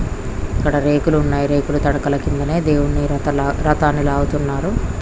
ఇక్కడ రేకులు ఉన్నాయ్. రేకుల తడికెలు కిందనే ఇక్కడే దేవుని రథాన్ని లాగుతున్నారు.